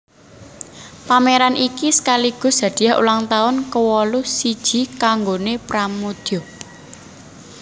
Pameran iki sekaligus hadiah ulang tahun kewolu siji kanggoné Pramoedya